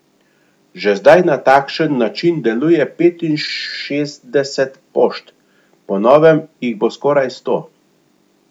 Že zdaj na takšen način deluje petinšestdeset pošt, po novem jih bo skoraj sto.